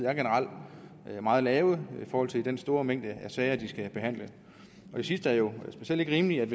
er generelt meget lave i forhold til den store mængde af sager de skal behandle det sidste er jo specielt ikke rimeligt